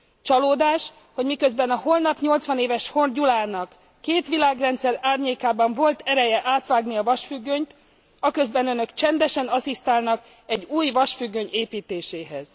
Csalódás, hogy miközben a holnap 80 éves Horn Gyulának két világrendszer árnyékában volt ereje átvágni a vasfüggönyt, aközben Önök csendesen asszisztálnak egy új vasfüggöny építéséhez.